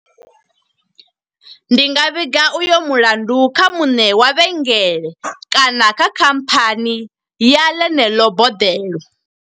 Ndi nga vhiga uyo mulandu kha muṋe wa vhengele, kana kha khamphani ya ḽeneḽo boḓelo.